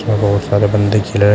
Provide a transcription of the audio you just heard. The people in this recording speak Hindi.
बहोत सारे बंदे खेल रहे--